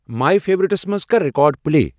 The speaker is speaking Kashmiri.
ماے فیورِٹس منز کر ریکارڈ پلے ۔